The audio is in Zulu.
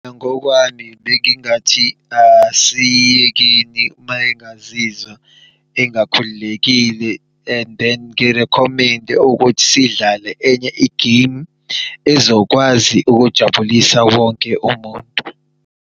Ngokwami bengingathi asiyekeni mayengazizwa engakhululekile and then ngi-recommend-e ukuthi sidlale enye i-game ezokwazi ukujabulisa wonke umuntu.